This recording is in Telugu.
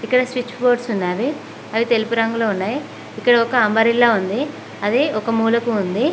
ఇక్కడ స్విచ్ బోర్డ్స్ ఉన్నావి అవి తెలుపు రంగులో ఉన్నాయి ఇక్కడొక అంబ్రల్లా ఉంది అది ఒక మూలకు ఉంది.